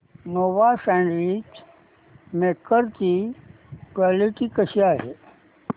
Nova sandwich maker ची quality कशी आहे